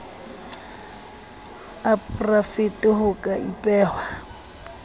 a porafete ho ka ipehwa